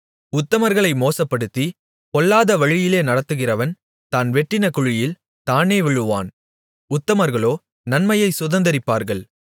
உத்தமர்களை மோசப்படுத்தி பொல்லாத வழியிலே நடத்துகிறவன் தான் வெட்டின குழியில் தானே விழுவான் உத்தமர்களோ நன்மையைச் சுதந்தரிப்பார்கள்